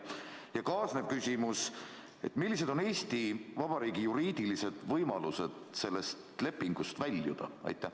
Ja kaasnev küsimus: millised on Eesti Vabariigi juriidilised võimalused sellest lepingust väljuda?